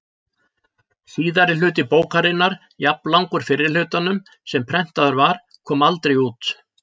Síðari hluti bókarinnar, jafnlangur fyrri hlutanum sem prentaður var, kom aldrei út.